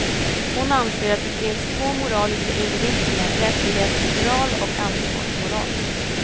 Hon anser att det finns två moraliska inriktningar, rättighetsmoral och ansvarsmoral.